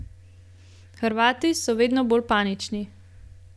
Hrvati so vedno bolj panični.